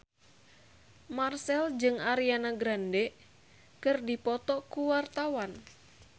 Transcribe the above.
Marchell jeung Ariana Grande keur dipoto ku wartawan